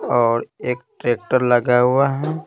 और एक ट्रैक्टर लगा हुआ है।